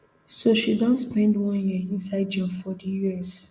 so she don spend one year inside jail for di us